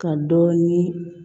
Ka dɔ ni